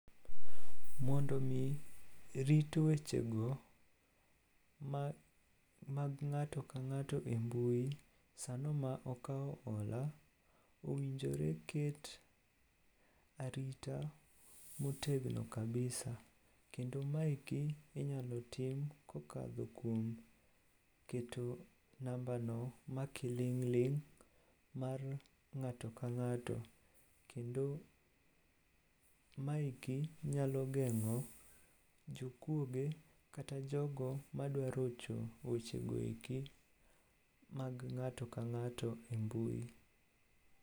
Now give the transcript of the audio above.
Mondo omi rit wechego mag ng'ato ka ng'ato e mbui sano ma okawo ola, owinjore ket arita motegno kabisa kendo maeki inyalo tim kokadho kuom keto nambano ma kiling'ling' mar ng'ato ka ng'ato kendo maeki nyalo geng'o jokuoge kata jogo madwarocho wechegoeki mag ng'ato ka ng'ato e mbui.